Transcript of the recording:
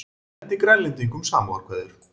Sendi Grænlendingum samúðarkveðjur